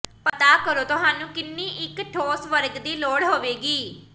ਪਤਾ ਕਰੋ ਤੁਹਾਨੂੰ ਕਿੰਨੀ ਇੱਕ ਠੋਸ ਵਰਗ ਦੀ ਲੋੜ ਹੋਵੇਗੀ